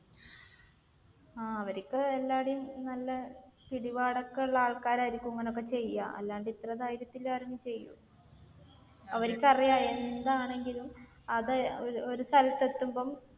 ആഹ് അവർക്ക് എല്ലാവിടെയും നല്ല പിടിപാടൊക്കെയുള്ള ആൾക്കാരായിരിക്കും ഇങ്ങനെയൊക്കെ ചെയ്യുക. അല്ലാതെ ഇത്ര ധൈര്യത്തിൽ ആരേലും ചെയ്യുവോ? അവർക്കറിയാം എന്താണെങ്കിലും അത് ഒരു സ്ഥലത്ത് എത്തുമ്പോൾ